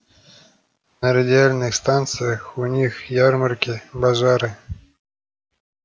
на радиальных станциях у них ярмарки базары